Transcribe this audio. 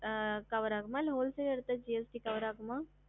அஹ் cover ஆகுமா இல்ல